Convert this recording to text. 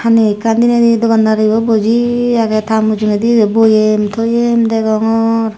hani ekkan dinedi dogan daribo buji agey ta mujungedi boyem toyem degongor.